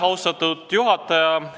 Austatud juhataja!